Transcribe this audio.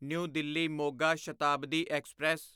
new Delhi Moga Shatabdi express